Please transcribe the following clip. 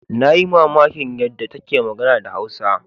Na yi mamakin yadda take magana da Hausa.